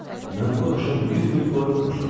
Mən bu axşam 100 min florin utmuşam.